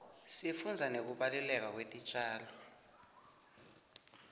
sifundza nekubaluleka kwetitjalo